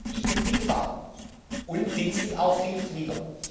Ich bin Vielfahrer und dienstlich auch Vielflieger.